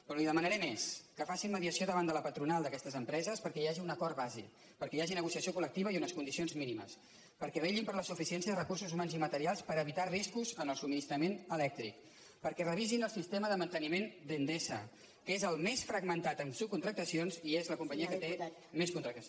però li demanaré més que facin mediació davant de la patronal d’aquestes empreses perquè hi hagi un acord base perquè hi hagi negociació coldicions mínimes perquè vetllin per la suficiència de recursos humans i materials per evitar riscos en el subministrament elèctric perquè revisin el sistema de manteniment d’endesa que és el més fragmentat en subcontractacions i és la companyia que té més con·tractes